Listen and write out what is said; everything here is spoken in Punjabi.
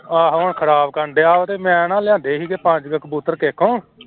ਆਹੋ ਹੁਣ ਖ਼ਰਾਬ ਕਰਨਡਿਆ ਤੇ ਮੈਂ ਨਾ ਲਿਆਂਦੇ ਸੀਗੇ ਪੰਜ ਕਬੂਤਰ ਕਿਸੇ ਕੋਲੋਂ